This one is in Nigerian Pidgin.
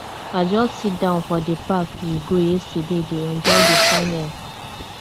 i just sit down for the park we go yesterday dey enjoy the fine air